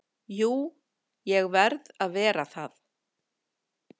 Jú, ég verð að vera það.